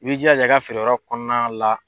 I b'i jalaja i ka feereyɔrɔ kɔnɔna la